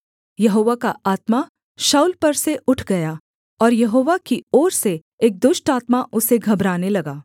यहोवा का आत्मा शाऊल पर से उठ गया और यहोवा की ओर से एक दुष्ट आत्मा उसे घबराने लगा